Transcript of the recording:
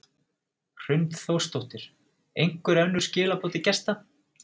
Hrund Þórsdóttir: Einhver önnur skilaboð til gesta?